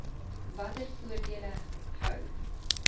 watter voordele hou